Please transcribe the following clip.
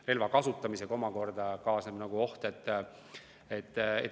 Relva kasutamisega omakorda kaasneb oht.